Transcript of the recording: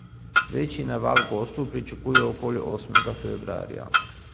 Večji naval gostov pričakujejo okoli osmega februarja.